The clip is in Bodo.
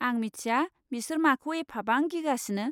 आं मिथिया बिसोर माखौ एफाबां गिगासिनो।